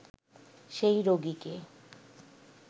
সেই রোগিকে